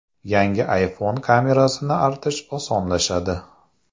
Yangi iPhone kamerasini artish osonlashadi.